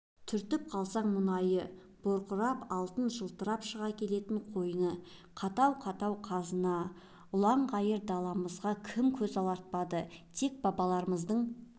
түртіп қалсаң мұнайы бұрқырап алтыны жылтырап шыға келетін қойны қаттау-қаттау қазына ұлаң-ғайыр даламызға кім көз алартпады тек бабаларымыздың